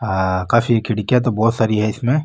आ काफी खिड़किया तो बहुत सारी है इसमें।